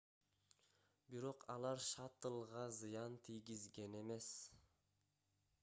бирок алар шаттлга зыян тийгизген эмес